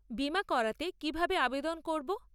বীমা করাতে কীভাবে আবেদন করব?